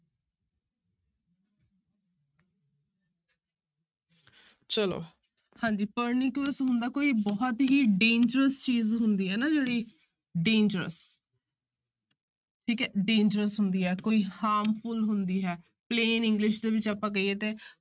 ਚਲੋ ਹਾਂਜੀ pernicious ਹੁੰਦਾ ਕੋਈ ਬਹੁਤ ਹੀ dangerous ਚੀਜ਼ ਹੁੰਦੀ ਹੈ ਨਾ ਜਿਹੜੀ dangerous ਠੀਕ ਹੈ dangerous ਹੁੰਦੀ ਹੈ ਕੋਈ harmful ਹੁੰਦੀ ਹੈ plain english ਦੇ ਵਿੱਚ ਆਪਾਂ ਕਹੀਏ ਤੇ